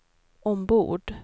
ombord